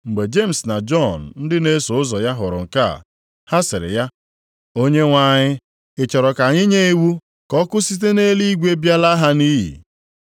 Mgbe Jemis na Jọn ndị na-eso ụzọ ya hụrụ nke a, ha sịrị ya, “Onyenwe anyị, ị chọrọ ka anyị nye iwu ka ọkụ site nʼeluigwe bịa laa ha nʼiyi?”